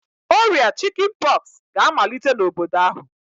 Oria Chicken pox ga-amalite n'obodo ahu